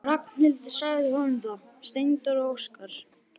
Ragnhildur sagði honum það: Steindór og Óskar.